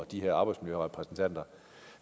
de her arbejdsmiljørepræsentanter